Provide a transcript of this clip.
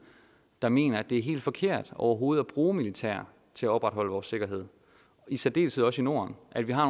der mener at det er helt forkert overhovedet at bruge militær til at opretholde vores sikkerhed i særdeleshed også i norden at vi har